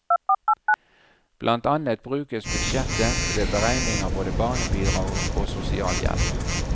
Blant annet brukes budsjettet ved beregning av både barnebidrag og sosialhjelp.